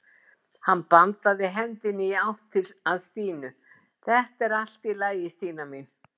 Hann bandaði hendinni í átt að Stínu: Þetta er allt í lagi Stína mín.